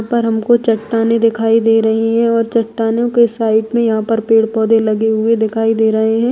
पर उनको चट्टानें दिखाई दे रही है और चट्टानों के साइड में यहाँ पर पेड़ पौधे लगे हुए दिखाई दे रहे है |